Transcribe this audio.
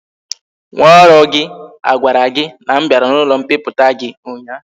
Nwa oru gi a gwara gi na m biara na ulo mpiputa gi unya?